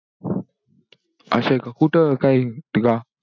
असंय का कुठं काही